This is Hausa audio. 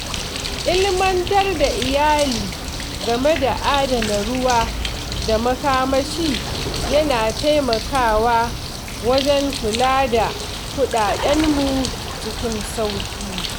Ilimantar da iyali game da adana ruwa da makamashi yana taimakawa wajen kula da kuɗaɗenmu cikin sauƙi.